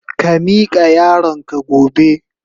Ka mika yaron ka gobe.